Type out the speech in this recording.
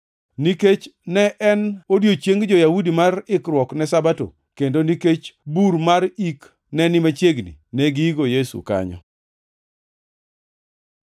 Nikech ne en odiechieng jo-Yahudi mar ikruok ne Sabato, kendo nikech bur mar ik ne ni machiegni, negiiko Yesu kanyo.